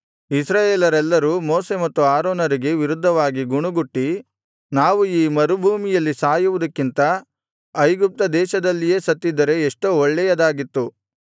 ಇಸ್ರಾಯೇಲರೆಲ್ಲರೂ ಮೋಶೆ ಮತ್ತು ಆರೋನರಿಗೆ ವಿರುದ್ಧವಾಗಿ ಗುಣುಗುಟ್ಟಿ ನಾವು ಈ ಮರುಭೂಮಿಯಲ್ಲಿ ಸಾಯುವುದಕ್ಕಿಂತ ಐಗುಪ್ತ ದೇಶದಲ್ಲಿಯೇ ಸತ್ತಿದ್ದರೆ ಎಷ್ಟೋ ಒಳ್ಳೆಯದಾಗಿತ್ತು